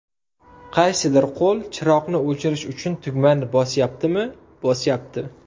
Qaysidir qo‘l chiroqni o‘chirish uchun tugmani bosyaptimi, bosyapti.